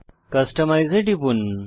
customise এ টিপুন